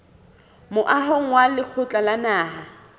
moahong wa lekgotla la naha